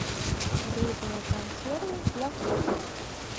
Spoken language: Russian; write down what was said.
рыбные консервы для кошек